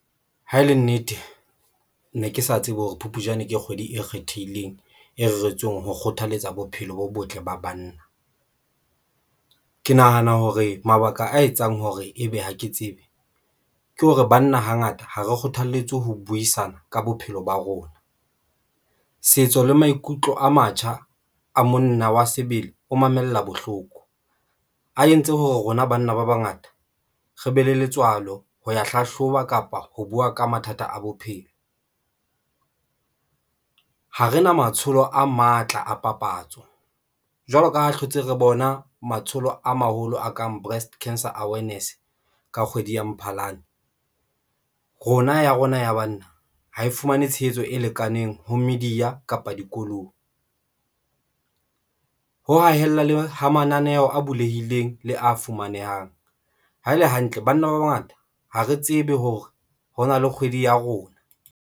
Ha e le nnete, ne ke sa tsebe hore Phupjane ke kgwedi e kgethehileng, e reretsweng ho kgothaletsa bophelo bo botle ba banna. Ke nahana hore mabaka a etsang hore ebe ha ke tsebe ke hore banna hangata ha re kgothaletswe ho buisana ka bophelo ba rona, setso le maikutlo a matjha a monna wa sebele, o mamella bohloko a entse ho rona. Banna ba bangata re be le letswalo ho ya hlahloba kapa ho buwa ka mathata a bophelo. Ha re na matsholo a matla a papatso, jwalo ka ha hlotse re bona matsholo a maholo a kang Breast Cancer Awareness ka kgwedi ya Mphalane rona ya rona ya banna ha e fumane tshehetso e lekaneng ho media kapa dikolong, ho hahella le ho mananeho a bulehileng le a fumanehang ha ele hantle. Banna ba bangata ha re tsebe hore ho na le kgwedi ya rona.